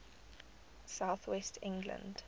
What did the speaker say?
south west england